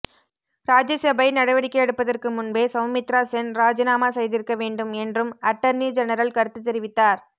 ராஜ்யசபை நடவடிக்கை எடுப்பதற்கு முன்பே சவுமித்ரா சென் ராஜினாமா செய்திருக்க வேண்டும் என்றும் அட்டர்னி ஜெனரல் கருத்து தெரிவித்தார்